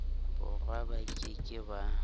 borwa ba ke ke ba